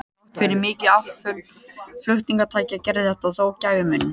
Þrátt fyrir mikil afföll flutningatækja gerði þetta þó gæfumuninn.